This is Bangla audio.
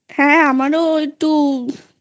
হ্যাঁ আমারও একটু